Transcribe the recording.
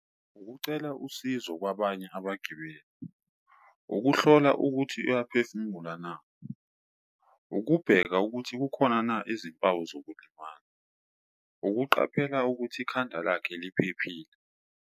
Ukucela usizo kwabanye abagibeli, ukuhlola ukuthi uyaphefumula na, ukubheka ukuthi kukhona na izimpawu zokulimala, ukuqaphela ukuthi ikhanda lakhe liphephile.